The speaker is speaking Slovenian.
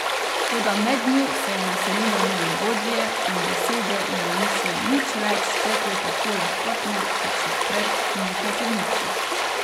Toda mednju se je naselilo nelagodje in besede jima niso nič več tekle tako lahkotno kot še pred nekaj trenutki.